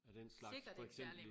Er det en slags for eksempel i